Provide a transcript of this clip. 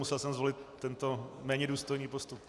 Musel jsem zvolit tento méně důstojný postup.